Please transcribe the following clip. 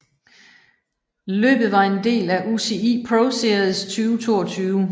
Løbet var en del af UCI ProSeries 2022